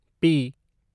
P